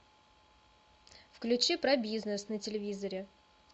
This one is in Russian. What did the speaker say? включи про бизнес на телевизоре